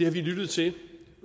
har vi lyttet til i